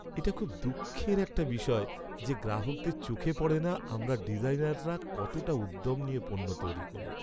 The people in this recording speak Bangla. এটা খুব দুঃখের একটা বিষয় যে গ্রাহকদের চোখে পড়ে না আমরা ডিজাইনাররা কতটা উদ্যম নিয়ে পণ্য তৈরি করি।